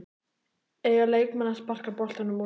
Eiga leikmenn að sparka boltanum útaf?